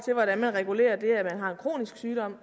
kronisk sygdom